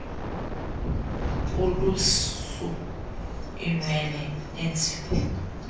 ulusu iinwele neenzipho